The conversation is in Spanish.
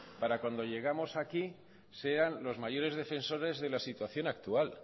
para cuando llegamos aquí sean los mayores defensores de la situación actual